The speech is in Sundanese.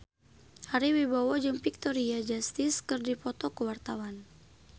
Ari Wibowo jeung Victoria Justice keur dipoto ku wartawan